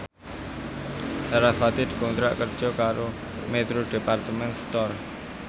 sarasvati dikontrak kerja karo Metro Department Store